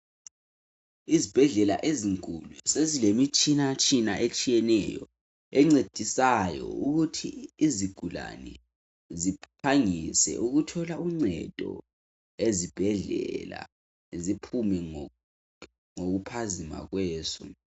Izibhedlela ezinkulu sezile mitshina tshina etshiyeneyo encedisayo ukuthi izigulane ziphangise ukuthola uncedo ezibhedlela ziphume ngokuphazima kweso.